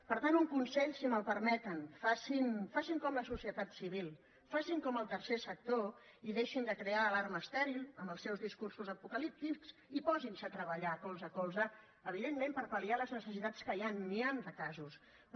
per tant un consell si me’l permeten facin com la so·cietat civil facin com el tercer sector i deixin de crear alarma estèril amb els seus discursos apocalíptics i posin·se a treballar colze a colze evidentment per palrò